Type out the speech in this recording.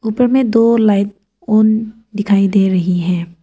ऊपर में दो लाइन ऑन दिखाई दे रही है।